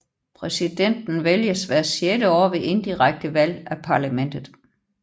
Præsidenten vælges hvert sjette år ved indirekte valg af parlamentet